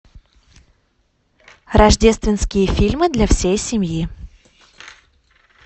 рождественские фильмы для всей семьи